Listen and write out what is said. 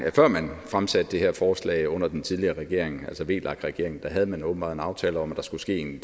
at før man fremsatte det her forslag under den tidligere regering altså vlak regeringen havde man åbenbart en aftale om at der skulle ske en